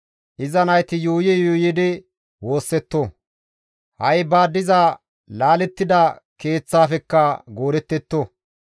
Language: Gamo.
Iza nayti yuuyi yuuyidi woossetto; ha7i ba diza laalettida keeththafekka goodettetto!